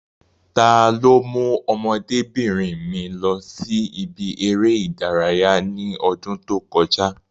Ta ló mú ọmọdébìnrin mi lọ sí ibi eré ìdárayá ní ọdún tí ó kọjá?